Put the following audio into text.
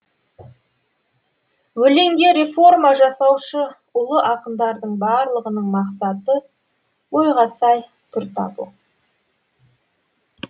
өлеңге реформа жасаушы ұлы ақындардың барлығының мақсаты ойға сай түр табу